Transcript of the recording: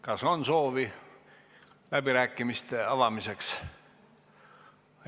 Kas on soovi läbirääkimiste avamiseks?